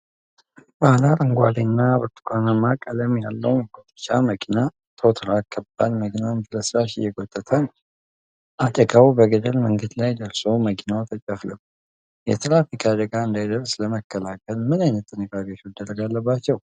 ባለ አረንጓዴ እና ብርቱካናማ ቀለም ያለው መጎተቻ መኪና (ቶው ትራክ) የከባድ መኪናን ፍርስራሽ እየጎተተ ነው። አደጋው በገደል መንገድ ላይ ደርሶ መኪናው ተጨፍልቋል። የትራፊክ አደጋ እንዳይደርስ ለመከላከል ምን ዓይነት ጥንቃቄዎች መደረግ አለባቸው?